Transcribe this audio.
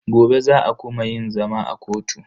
Gobe za a kuma yin zama a kotu.